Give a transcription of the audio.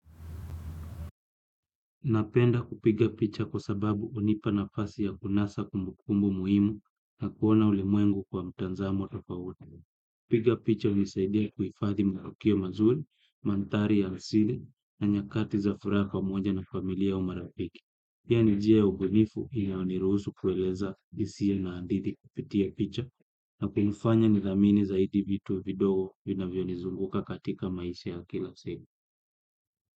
Napenda kupiga picha kwa sababu hunipa nafasi ya kunasa kumbukumbu muhimu na kuona ulimwengu kwa mtazamo tofauti. Kupiga picha hunisaidia kuhifadhi matokeo mazuri, maandhari ya asili na nyakati za furaha pamoja na familia au marafiki. Pia ni njia ya ubunifu inayo niruhusu kueleza hisia na hadithi kupitia picha na kufanya nidhamini zaidi vitu vidogo vinavyo nizunguka katika maisha ya kila siku.